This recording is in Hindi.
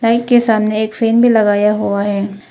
के सामने एक फैन भी लगाया हुआ है।